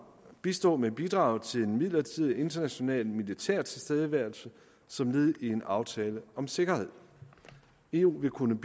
bistå med bidrag til en midlertidig international militær tilstedeværelse som led i en aftale om sikkerhed eu vil kunne